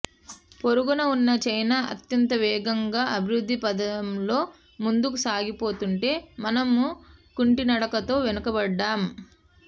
పొరుగున ఉన్న చైనా అత్యంత వేగంగా అభివృద్ధి పథంలో ముందుకు సాగిపోతుంటే మనం కుంటినడకతో వెనకబడ్డాం